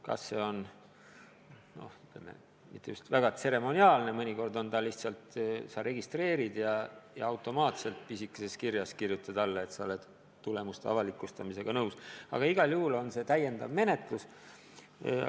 Vahel see käib mitte kuigi tseremoniaalselt, mõnikord lihtsalt registreerid end ja pisikeses kirjas kirjutad alla, et oled tulemuste avalikustamisega nõus, või siis mitte, aga igal juhul on see täiendav menetlustoiming.